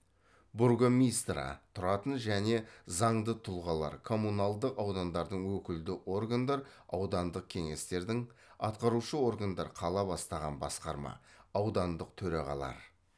бургомистра тұратын және заңды тұлғалар коммуналдық аудандардың өкілді органдар аудандық кеңестердің атқарушы органдар қала бастаған басқарма аудандық төрағалар